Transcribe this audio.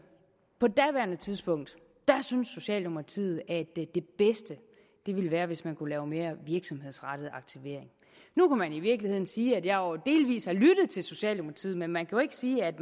på daværende tidspunkt syntes socialdemokratiet at det bedste ville være hvis man kunne lave mere virksomhedsrettet aktivering nu kan man i virkeligheden sige at jeg jo delvis har lyttet til socialdemokratiet men man kan ikke sige at